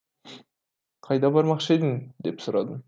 қайда бармақшы едің деп сұрадым